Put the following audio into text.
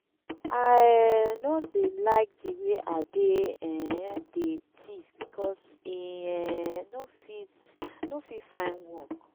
i um no dey like the way ade um dey thief because e um no fit no fit find work